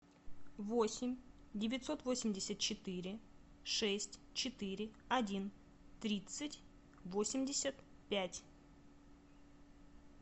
восемь девятьсот восемьдесят четыре шесть четыре один тридцать восемьдесят пять